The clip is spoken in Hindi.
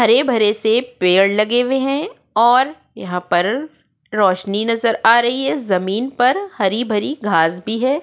हरे भरे से पेड़ लगे हुए हैं और यहाँ पर रोशनी नज़र आ रही है ज़मीन पर हरी भरी घास भी है --